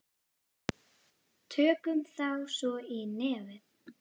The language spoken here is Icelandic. Tökum þá svo í nefið!